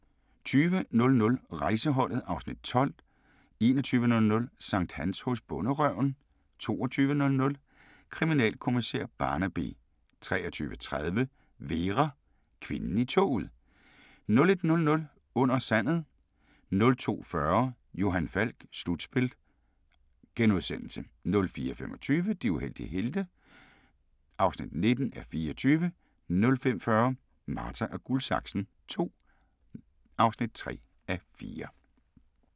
20:00: Rejseholdet (Afs. 12) 21:00: Sankthans hos Bonderøven 22:00: Kriminalkommissær Barnaby 23:30: Vera: Kvinden i toget 01:00: Under sandet 02:40: Johan Falk: Slutspil * 04:25: De uheldige helte (19:24) 05:40: Marta & Guldsaksen II (3:4)